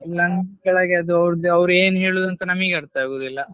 ಕೆಳಗೆ ಅದು ಆವ್ರ್ಧ ಅವ್ರು ಏನ್ ಹೇಳುದು ಅಂತ ನಮಿಗೆ ಅರ್ಥ ಆಗುದಿಲ್ಲ.